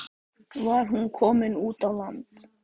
Var hún komin út á land?